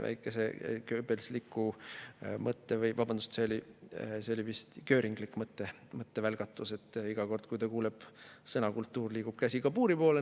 See oli väike selline göringlik mõttevälgatus – iga kord, kui ta kuuleb sõna "kultuur", liigub käsi kabuuri poole.